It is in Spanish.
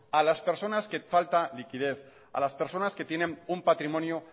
a las personas que falta liquidez alas personas que tienen un patrimonio